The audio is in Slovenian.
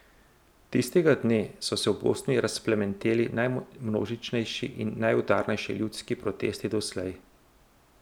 Tistega dne so se v Bosni razplamteli najmnožičnejši in najudarnejši ljudski protesti doslej.